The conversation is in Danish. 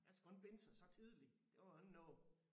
Man skal kun binde sig så tidligt det var jo ikke noget